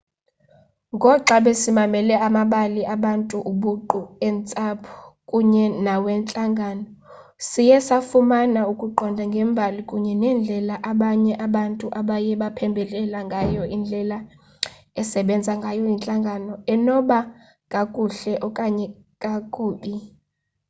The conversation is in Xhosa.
ngoxa besimamele amabali abantu obuqu eentsapho kunye nawentlangano siye safumana ukuqonda ngembali kunye nendlela abanye abantu abaye baphembelela ngayo indlela esebenza ngayo intlangano enoba kakuhle okanye kakube